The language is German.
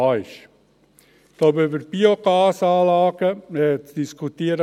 Ich glaube, über Biogasanalgen könnte man lange diskutieren.